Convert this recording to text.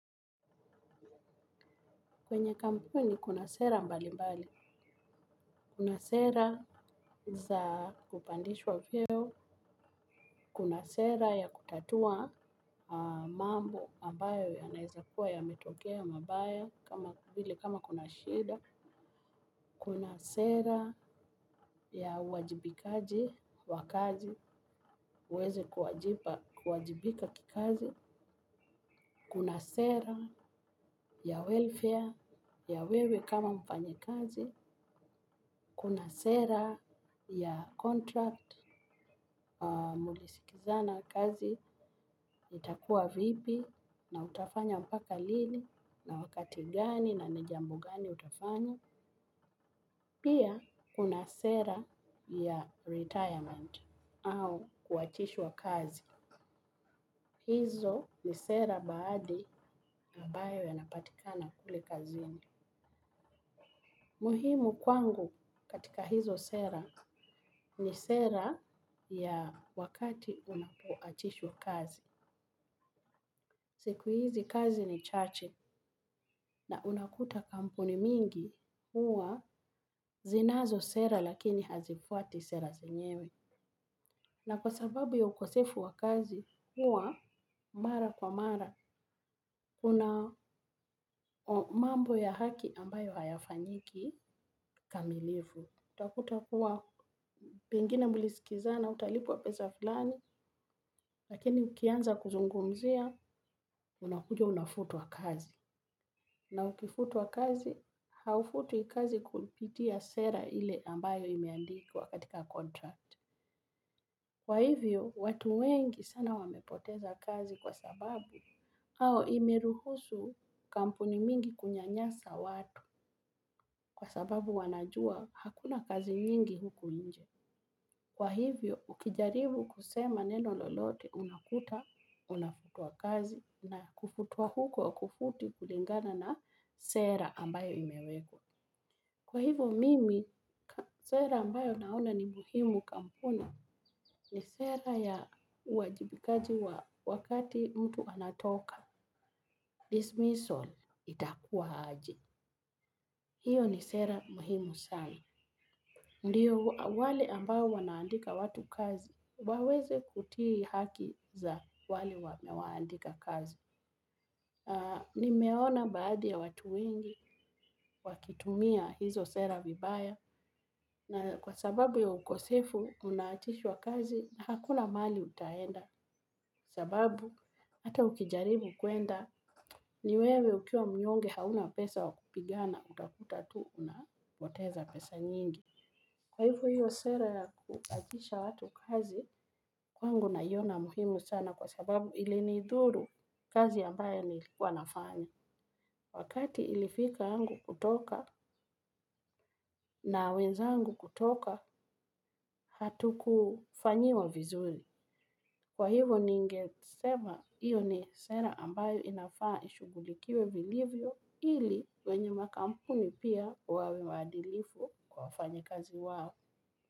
Kwenye kampuni kuna sera mbali mbali, kuna sera za kupandishwa vyeo, kuna sera ya kutatua mambo ambayo yanaeza kuwa yametokea mabaya kama vile kama kuna shida, kuna sera ya uwajibikaji wa kazi, uweze kuwajibika kikazi, kuna sera ya welfare, ya wewe kama mfanyikazi, kuna sera ya contract, mlisikizana kazi, itakua vipi, na utafanya mpaka lini, na wakati gani, na ni jambo gani utafanya. Pia, kuna sera ya retirement au kuachishwa kazi. Hizo ni sera baadhi na ambayo yanapatikana kule kazini. Muhimu kwangu katika hizo sera ni sera ya wakati unapoachishwa kazi. Siku hizi kazi ni chache na unakuta kampuni mingi huwa zinazo sera lakini hazifuati sera zenyewe. Na kwa sababu ya ukosefu wa kazi huwa mara kwa mara kuna mambo ya haki ambayo hayafanyiki kamilifu. Utakuta kuwa pengine mlisikizana utalipwa pesa fulani, lakini ukianza kuzungumzia, unakuja unafutwa kazi. Na ukifutwa kazi, haufutwi kazi kupitia sera ile ambayo imeandikwa katika contract. Kwa hivyo, watu wengi sana wamepoteza kazi kwa sababu, au imeruhusu kampuni mingi kunyanyasa watu, kwa sababu wanajua hakuna kazi nyingi huku nje. Kwa hivyo ukijaribu kusema neno lolote unakuta unafutwa kazi na kufutwa huko haukufuti kulingana na sera ambayo imeekwa. Kwa hivyo, mimi, sera ambayo naona ni muhimu kampuni ni sera ya uwajibikaji wa wakati mtu anatoka. Dismissal itakuwa aje. Hiyo ni sera muhimu sana. Ndiyo wale ambao wanaandika watu kazi, waweze kutii haki za wale wamewaandika kazi. Nimeona baadhi ya watu wengi, wakitumia hizo sera vibaya, na kwa sababu ya ukosefu unaachishwa kazi, hakuna mahali utaenda. Sababu, hata ukijaribu kuenda, ni wewe ukiwa mnyonge hauna pesa wa kupigana, utakuta tu, unapoteza pesa nyingi. Kwa hivo hiyo sera ya kuachisha watu kazi, kwangu naiona muhimu sana kwa sababu ilinidhuru kazi ambayo nilikuwa nafanya. Wakati ilifika yangu kutoka na wenzangu kutoka hatukufanyiwa vizuri. Kwa hivo ningesema hiyo ni sera ambayo inafaa ishugulikiwe vilivyo ili wenye makampuni pia wawe waadilifu kwa wafanyikazi wao.